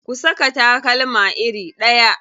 Ku saka takalma iri ɗaya.